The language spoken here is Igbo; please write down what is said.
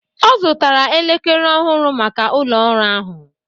Ọ zụtara elekere ọhụrụ maka ụlọ ọrụ ahụ